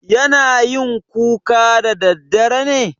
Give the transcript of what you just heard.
yana yin kuka daddadare ne?